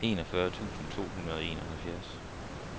enogfyrre tusind to hundrede og enoghalvfjerds